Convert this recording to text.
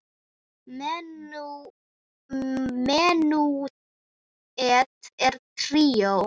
Menúett og tríó